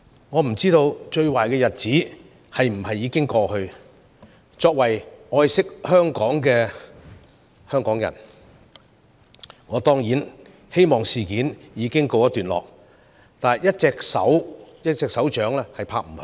我不知道最壞的日子是否已經過去，作為愛惜香港的人，我當然希望事件已告一段落，但一個巴掌拍不響。